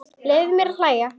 Leyfðu þér að hlæja.